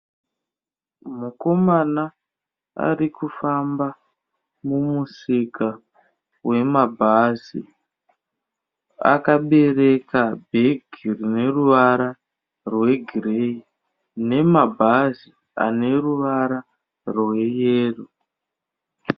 Mukomana ari kufamba mumusika wemabhazi, akabereka bhegi rine ruvara rwegireyi nemabhazi ane ruvara rweyero.